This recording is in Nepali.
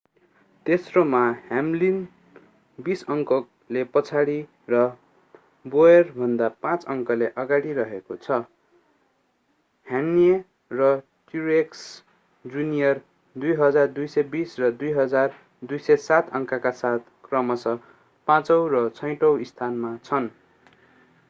तेस्रोमा ह्याम्लिन बीस अङ्कले पछाडी र बोयरभन्दा पाँच अङ्कले अगाडि रहेको छ कह्ने र ट्रुएक्स जुनियर 2,220 र 2,207 अङ्कका साथ क्रमशः पाचौं र छैठौं स्थानमा छन्